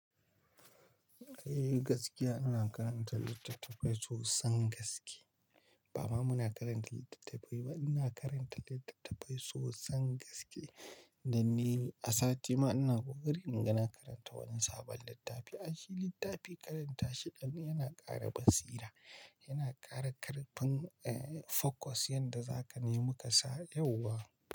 Eh gaskiya ina karanta littattafai sosan gaske. Ba ma muna karanta littattafai ba, ina karanta littattafai sosan gaske. Dan ni a sati ma ina kokarinnana ga na karanta wani sabon littafi. Ayshi littafi karanta ayyana ƙara basira, yana ƙara ƙarfin, focus yanda zaka nemi kasan yauwa.